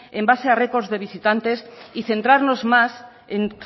en base a records de visitantes y centrarnos más en